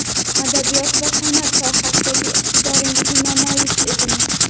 adabiyot va sanʼat sohasidagi iqtidoringizni namoyish eting!.